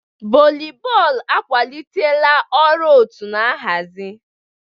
Volibọọlụ akwalitela ọrụ òtú na nhazi.